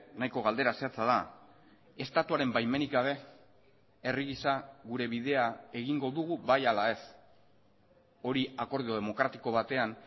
nahiko galdera zehatza da estatuaren baimenik gabe herri gisa gure bidea egingo dugu bai ala ez hori akordio demokratiko batean